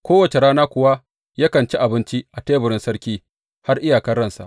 Kowace rana kuwa yakan ci abinci a teburin sarki har iyakar ransa.